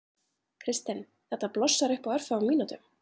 Kristinn: Þetta blossar upp á örfáum mínútum?